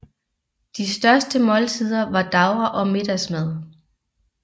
De største måltider var davre og middagsmad